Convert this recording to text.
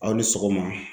Aw ni sɔgɔma